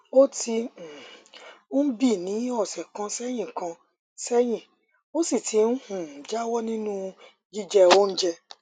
ó ti um ń bii ní ọsẹ kan sẹyìn kan sẹyìn ó sì ti um jáwọ nínú jíjẹ oúnjẹ